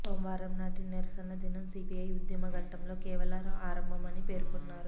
సోమవారం నాటి నిరసన దినం సిపిఐ ఉద్య మ ఘట్టంలో కేవలం ఆరంభం అని పేర్కొన్నారు